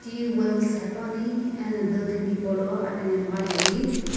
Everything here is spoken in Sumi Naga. Twills hepuani ena dukan hipaulo aphinhemgha jeli.